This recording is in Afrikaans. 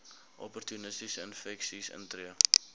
opportunistiese infeksies intree